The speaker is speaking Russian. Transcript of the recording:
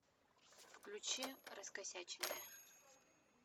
включи раскосяченные